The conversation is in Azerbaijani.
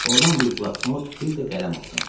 Ordan bir bloknot, bir də qələm aldım.